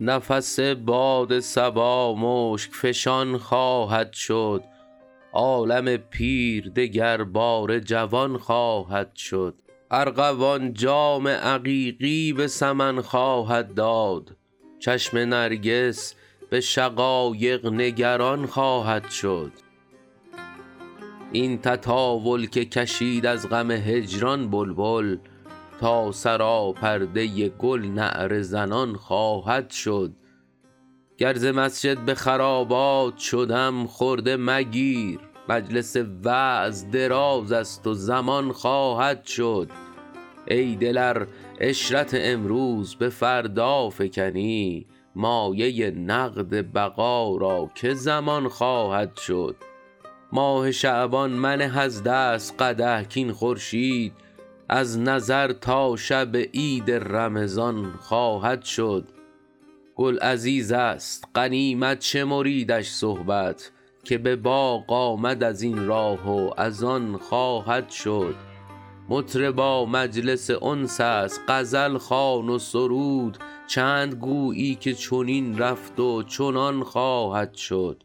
نفس باد صبا مشک فشان خواهد شد عالم پیر دگرباره جوان خواهد شد ارغوان جام عقیقی به سمن خواهد داد چشم نرگس به شقایق نگران خواهد شد این تطاول که کشید از غم هجران بلبل تا سراپرده گل نعره زنان خواهد شد گر ز مسجد به خرابات شدم خرده مگیر مجلس وعظ دراز است و زمان خواهد شد ای دل ار عشرت امروز به فردا فکنی مایه نقد بقا را که ضمان خواهد شد ماه شعبان منه از دست قدح کاین خورشید از نظر تا شب عید رمضان خواهد شد گل عزیز است غنیمت شمریدش صحبت که به باغ آمد از این راه و از آن خواهد شد مطربا مجلس انس است غزل خوان و سرود چند گویی که چنین رفت و چنان خواهد شد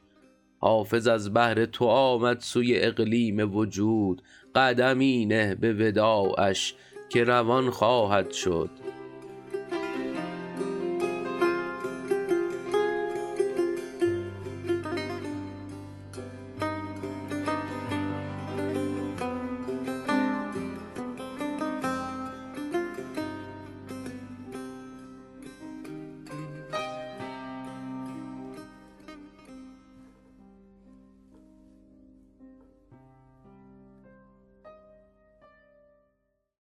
حافظ از بهر تو آمد سوی اقلیم وجود قدمی نه به وداعش که روان خواهد شد